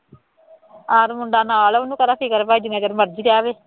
ਆਪ ਮੁੰਡਾ ਨਾਲ ਹੈ ਉਹਨੂੰ ਕਾਹਦਾ ਫਿਕਰ ਭਾਈ ਜਿੰਨਾ ਚਿਰ ਮਰਜ਼ੀ ਜਾ ਆਵੇ,